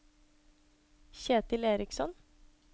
Kjetil Eriksson